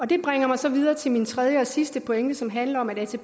det bringer mig så videre til min tredje og sidste pointe som handler om at